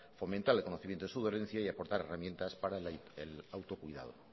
fomentar el conocimiento de su dolencia y aportar herramientas para el autocuidado